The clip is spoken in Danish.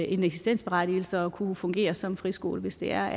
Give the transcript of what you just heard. en eksistensberettigelse og kunne fungere som friskoler hvis de er